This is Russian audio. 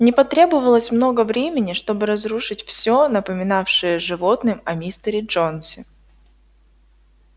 не потребовалось много времени чтобы разрушить всё напоминавшее животным о мистере джонсе